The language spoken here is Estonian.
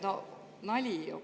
Nali ju!